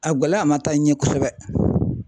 A gɛlɛya ma taa ɲɛ kosɛbɛ.